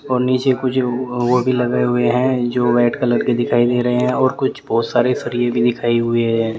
और नीचे कुछ बोर्ड भी लगे हुए हैं जो रेड कलर के दिखाई दे रहे हैं और कुछ बहुत सारे सरिए भी दिखाई हुए है।